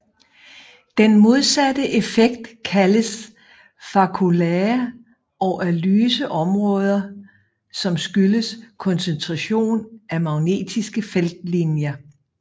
Den modsatte effekt kaldes faculae og er lyse områder som skyldes koncentration af magnetiske feltlinjer